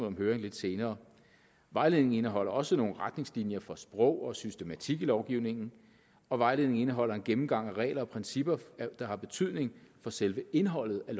om høring lidt senere vejledningen indeholder også nogle retningslinjer for sprog og systematik i lovgivningen og vejledningen indeholder en gennemgang af regler og principper der har betydning for selve indholdet af